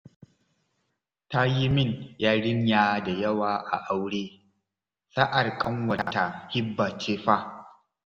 Ta yi min yarinya da yawa a aure, sa'ar ƙanwata Hibba ce fa